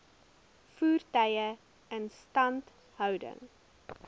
voertuie instandhouding